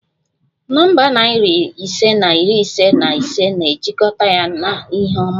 Nọmba narị ise na iri ise na ise na-ejikọta ya na ihe ọma